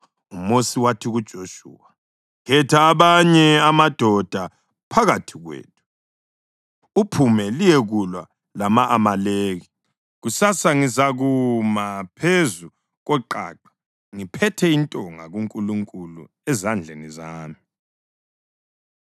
UMosi wathi kuJoshuwa, “Khetha amanye amadoda phakathi kwethu uphume liyekulwa lama-Amaleki. Kusasa ngizakuma phezu koqaqa ngiphethe intonga kaNkulunkulu ezandleni zami.”